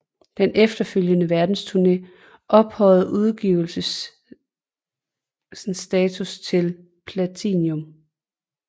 Den efterfølgende verdensturné ophøjede udgivelsens status til platinum